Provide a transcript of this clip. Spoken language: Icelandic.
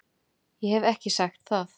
Ég hef ekki sagt það!